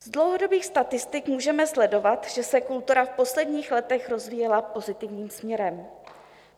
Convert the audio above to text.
Z dlouhodobých statistik můžeme sledovat, že se kultura v posledních letech rozvíjela pozitivním směrem.